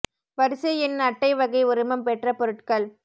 வரிசை எண் அட்டை வகை உரிமம் பெற்ற பொருட்கள்